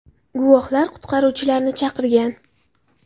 Guvohlar qutqaruvchilarni chaqirgan.